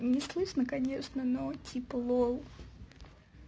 не слышно конечно но типа лол